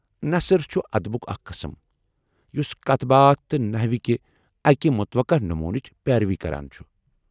نثر چُھ ادبُک اکھ قسم یُس کتھ باتھ تہٕ نحوکہِ اکہِ متوقع نمونٕچ پیروی کران چُھ ۔